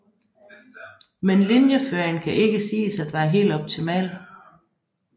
Men linieføringen kan ikke siges at være helt optimal